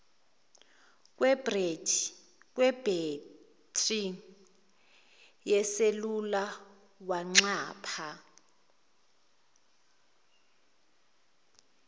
kwebhethri yeselula wanxapha